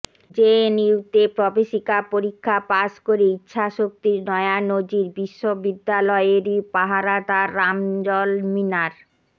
জেএনইউতে প্রবেশিকা পরীক্ষা পাশ করে ইচ্ছাশক্তির নয়া নজির বিশ্ববিদ্যালয়েরই পাহারাদার রামজল মিনার